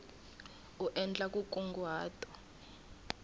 u endla nkunguhato u nga